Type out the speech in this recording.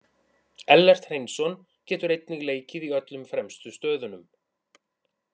Ellert Hreinsson getur einnig leikið í öllum fremstu stöðunum.